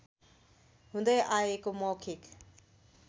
हुँदै आएको मौखिक